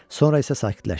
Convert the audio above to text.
Sonra isə sakitləşdi.